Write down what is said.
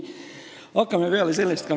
Hakkame peale sellest ...